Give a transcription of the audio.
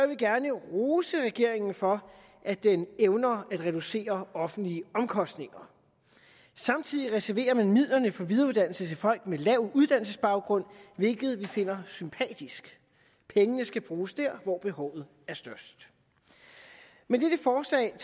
vi gerne rose regeringen for at den evner at reducere offentlige omkostninger samtidig reserverer man midlerne til videreuddannelse for folk med lav uddannelsesbaggrund hvilket vi finder sympatisk pengene skal bruges dér hvor behovet er størst med dette forslag